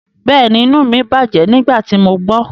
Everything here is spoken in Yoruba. Bẹ́ẹ̀ni, inu mi bajẹ nigbati mo gbọ